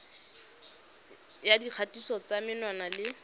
ya dikgatiso tsa menwana le